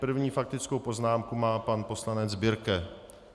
První faktickou poznámku má pan poslanec Birke.